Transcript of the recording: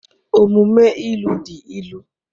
Omume ilu dị ilu